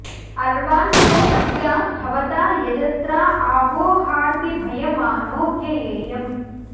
अर्वाञ्चो अद्या भवता यजत्रा आ वो हार्दि भयमानो व्ययेयम्